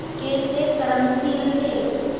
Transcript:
कैसे कर्मशील थे